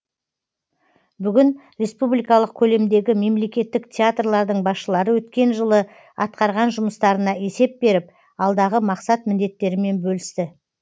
бүгін республикалық көлемдегі мемлекеттік театрлардың басшылары өткен жылы атқарған жұмыстарына есеп беріп алдағы мақсат міндеттерімен бөлісті